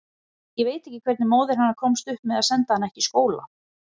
Ég veit ekki hvernig móðir hennar komst upp með að senda hana ekki í skóla.